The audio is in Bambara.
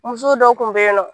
Musow dɔ tun bɛ yen nɔ